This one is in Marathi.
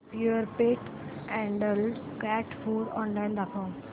Purepet adult cat food online दाखव